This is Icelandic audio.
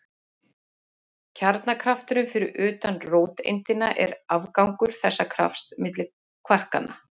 Kjarnakrafturinn fyrir utan róteindina er afgangur þessa krafts milli kvarkanna.